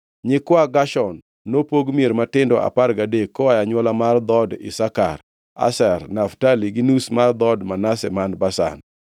Nyikwa Gershon nopog mier matindo apar gadek koa e anywola mar dhood Isakar, Asher, Naftali, to gi nus mar dhood Manase man Bashan.